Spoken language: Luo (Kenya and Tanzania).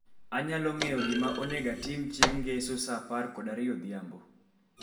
Anyalo ng'eyo gima onego atim chieng' ngeso saa apar kod ariyo odhiambo.